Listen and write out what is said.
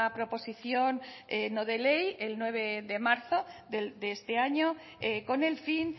proposición no de ley el nueve de marzo de este año con el fin